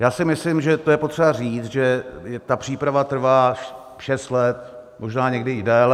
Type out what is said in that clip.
Já si myslím, že to je potřeba říct, že ta příprava trvá šest let, možná někdy i déle.